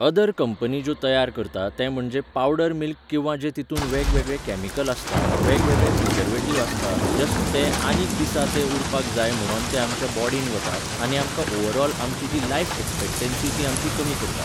other company ज्यो तयार करता ते म्हणजे पावडर मिल्क किंवा जे जितुन वेगवेगळे कॅमिकल आसता वेगवेगळे प्रिजवेटिव आसता जस्ट ते आनीक दिसा ते उरपाक जाय म्हणोन ते आमच्या बोडिन वता आनी आमकां ओवरोल आमची जी लायफ एक्सपेक्टेन्सी ती आमची कमी करता